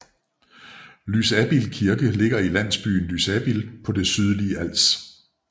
Lysabild Kirke ligger i landsbyen Lysabild på det sydlige Als